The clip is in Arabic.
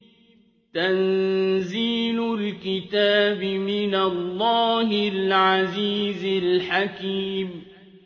تَنزِيلُ الْكِتَابِ مِنَ اللَّهِ الْعَزِيزِ الْحَكِيمِ